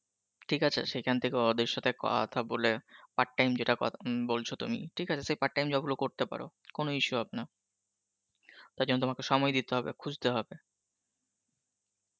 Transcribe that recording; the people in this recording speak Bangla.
ঠিক আছে সেইখান থেকে ওদের সথে কথা বলে, part time যেটা কতা~ উম বলছো তুমি ঠিক আছে সেই part time job গুলো করতে পরো কোনো issue হবে না, তার জন্য তোমাকে সময় দিতে হবে খুজতে হবে